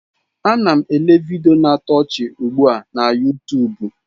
Ana m ele vidiyo na-atọ ọchị ugbu a na Yutubu.